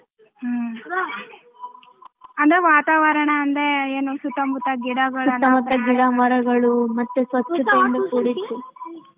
ಹ್ಮ ಅಂದ್ರೆ ವಾತಾವರಣ ಅಂದರೇನು ಸುತ್ತಮುತ್ತ ಗಿಡಗಳು.